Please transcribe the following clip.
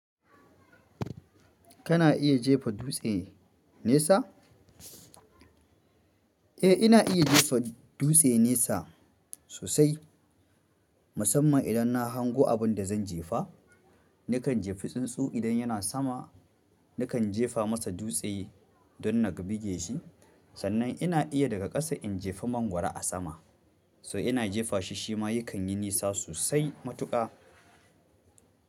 Kana iya jefa dutse nesa? Eh ina iya jefa dutse nesa sosai musamman in na hango abinda zan jefa nakan jefi tsuntsu idan yana sama, nakan jefa masa dutse don na kabige shi. Sannan ina iya daga ƙasa in jefa mangwaro a sama, so ina jefa shi shi ma yakan yi nisa sosai matuƙa.